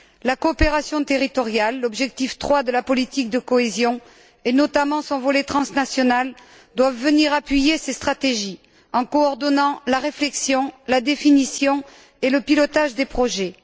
La coopération territoriale l'objectif 3 de la politique de cohésion et notamment son volet transnational, doivent venir appuyer ces stratégies en coordonnant la réflexion, la définition et le pilotage des projets.